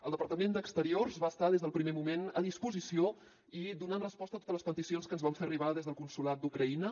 el departament d’exteriors va estar des del primer moment a disposició i donant resposta a totes les peticions que ens van fer arribar des del consolat d’ucraïna